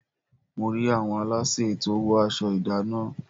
Mo rí àwọn aláṣẹ tí ó wọ aṣọ ìdánná.